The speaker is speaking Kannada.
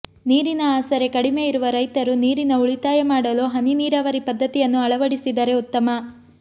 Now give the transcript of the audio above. ನೀರಿನ ಆಸರೆ ಕಡಿಮೆ ಇರುವ ರೈರತು ನೀರಿನ ಉಳಿತಾಯ ಮಾಡಲು ಹನಿ ನೀರಾವರಿ ಪದ್ಧತಿಯನ್ನು ಅಳವಡಿಸಿದರೆ ಉತ್ತಮ